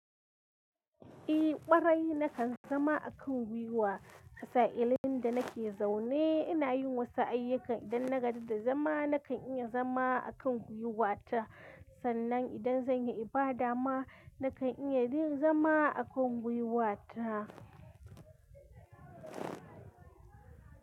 Eh, ƙwarai na kan zama a kan gwiwa. A sa'ilin da nake zaune ina yin wasu ayyukan idan na gaji da zama na kan iya zama a kan gwiwata. Sannan idan zan yi ibada ma na kan iya dai zama a kan gwiwata.